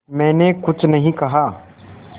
मैंने कुछ नहीं कहा